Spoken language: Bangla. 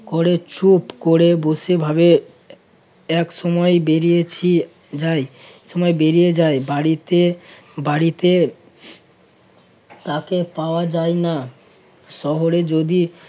করে চুপ করে বসে ভাবে এক সময় বেরিয়েছি যাই এক সময় বেরিয়ে যাই বাড়িতে~ বাড়িতে তাকে পাওয়া যায় না শহরে যদি